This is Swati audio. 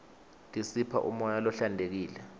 tisipha umoya lohlantekile